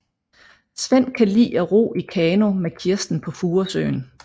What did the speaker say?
Svend kan lide at ro i kano med Kirsten på Furesøen